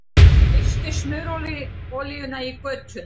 Missti smurolíuna í götuna